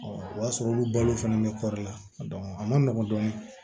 o y'a sɔrɔ olu balo fɛnɛ bɛ kɔri la a man nɔgɔ dɔɔni